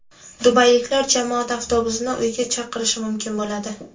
Dubayliklar jamoat avtobusini uyga chaqirishi mumkin bo‘ladi.